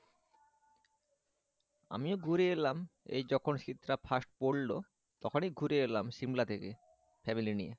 আমিও ঘুরে এলাম এই যখন শীতটা first পড়লো তখনই ঘুরে এলাম সিমলা থেকে ফ্যামিলি নিয়ে